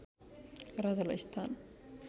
राजालाई स्थान